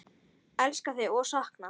Elska þig og sakna.